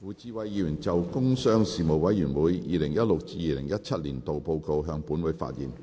胡志偉議員就"工商事務委員會 2016-2017 年度報告"向本會發言。